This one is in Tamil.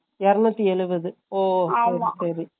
இரனுத்தி எழுபது ஓ சரி சரி